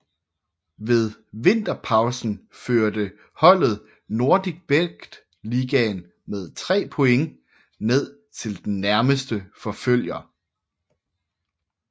Ved vinterpausen førte holdet NordicBet Ligaen med tre point ned til den nærmeste forfølger